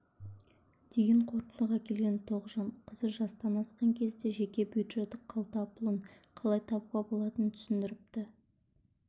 деген қортындыға келген тоғжан қызы жастан асқан кезде жеке бюджеті қалтапұлын қалай табуға болатынын түсіндіріпті